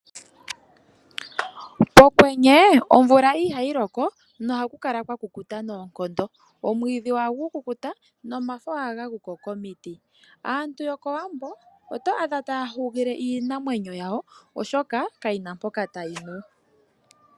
Pokwenye omvula ihayi loko nohaku kala kwa kukuta noonkondo omwiidhi ohagu kukuta nomafo ohaga guko komiti aantu yokowambo oto adha taya hugile iinamwenyo yawo oshoka kayina mpoka tayi nu.